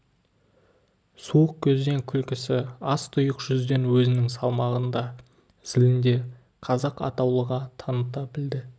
суық көзден күлкісі аз тұйық жүзден өзінің салмағын да зілін де қазақ атаулыға таныта біледі